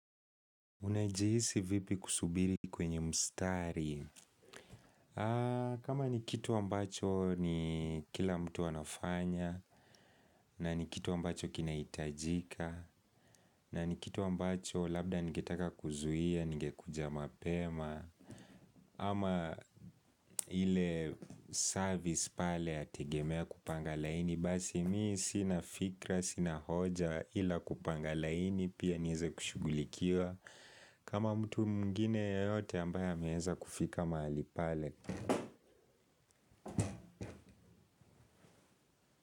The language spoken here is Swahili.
Unajihisi vipi kusubiri kwenye mstari? Kama ni kitu ambacho ni kila mtu anafanya, na ni kitu ambacho kinaitajika, na ni kitu ambacho labda ningetaka kuzuia, ningekuja mapema, ama ile service pale yategemea kupanga laini, basi mii sina fikra, sina hoja, ila kupanga laini, pia nieze kushughulikiwa. Kama mtu mwingine yeyote ambaye ameeza kufika mahali pale.